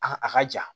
A ka a ka ja